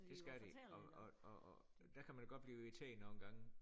Det skal de og og og og der kan man jo godt blive irriteret nogle gange